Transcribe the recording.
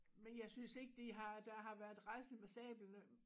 Men jeg synes ikke det har der var været raslet med sablerne